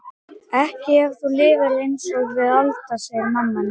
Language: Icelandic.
Ekki ef þú lifir einsog við Alda, segir mamma hennar.